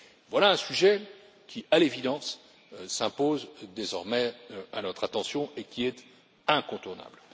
Voici un sujet qui, à l'évidence, s'impose désormais à notre attention et qui est incontournable.